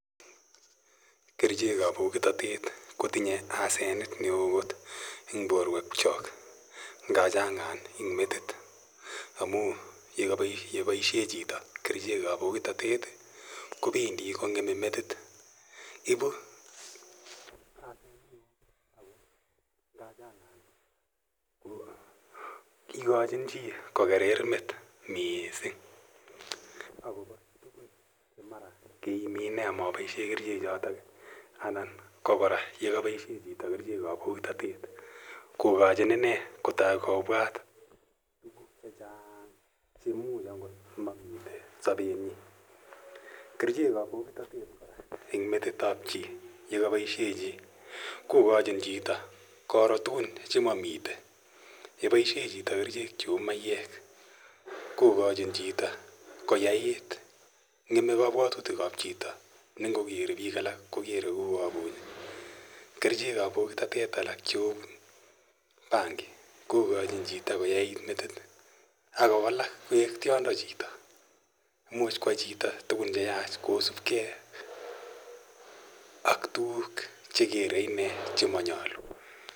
Kerichek ap pokitatet ko tinye asenet ne oo kot eng' porwekchak. Nga chang'an eng' metit amun ye paishe chito kerichek ap pokitatet kopendi kong'eme metit. Ipu asenet ne o ako ngachang'an ko ikachin chi ko kerer met missing' akopa tugun che mara keimi ine ama paishe kerichochotok anan ko klra ye kapaidhe chito kerichek ap pokitatet ko kachin ine kotai kopwat tuguk che chang', che much mamitei sapenyin. Kerichek ap pokitatet kora eng' metit ap chi ye kapaishe chi kokachin chito koro tugun che mamitei. Ngopaishe chito tuguk cheu mayek kokachin chito koyait. Ng'eme kapwatutilk ap chito ne ngokere piik alak kokere kou ni puch. Kerichek ap pokitatet alak chu bangi kokachin chito koyait metit ak kowalak koek tiondo chito. Imuchi koyai chito tugun che yach kosupgei ak tugun che kere ichek che manyalu.